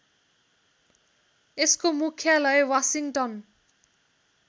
यसको मुख्यालय वासिङ्गटन